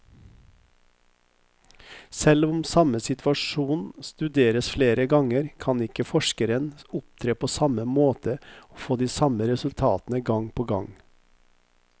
Selv om samme situasjon studeres flere ganger, kan ikke forskeren opptre på samme måte og få de samme resultatene gang på gang.